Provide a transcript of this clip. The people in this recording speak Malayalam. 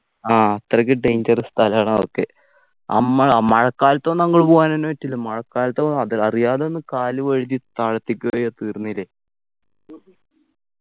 ആ അത്രക്ക് dangerous സ്ഥലാണ് അതൊക്കെ അമ്മഴ മഴക്കാലത്ത് ഒന്നും അങ്ട് പോകാനെന്നെ പറ്റില്ല മഴക്കാലത്ത് അത് അറിയാതെ ഒന്ന് കാല് വഴുതി താഴത്തേക്ക് പോയാ തീർന്നില്ലേ